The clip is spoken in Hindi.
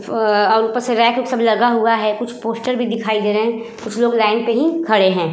अ ऊपर से रैक वैक सब लगा हुआ है। कुछ पोस्टर भी दिखाई दे रहे हैं। कुछ लोग लाइन पर ही खड़े हैं।